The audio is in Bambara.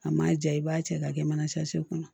A ma ja i b'a cɛ k'a kɛ mana kɔnɔ